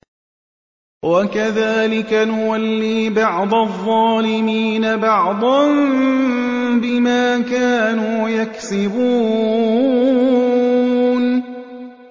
وَكَذَٰلِكَ نُوَلِّي بَعْضَ الظَّالِمِينَ بَعْضًا بِمَا كَانُوا يَكْسِبُونَ